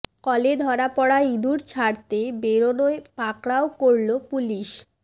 কলে ধরা পড়া ইঁদুর ছাড়তে বেরোনোয় পাকড়াও করল পুলিশ